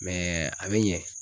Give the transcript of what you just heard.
a bɛ ɲɛ